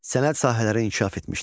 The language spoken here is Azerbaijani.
Sənət sahələri inkişaf etmişdi.